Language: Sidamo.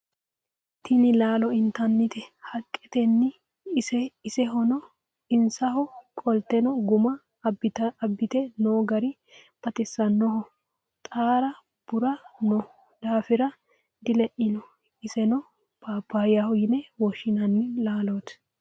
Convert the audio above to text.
tini laalo intanni haqqeeti isenho qolte gumma aabbite noo gari baxisannoho xaara bura noo daafira dileino isono papayyaho yine woshshinanni laaloti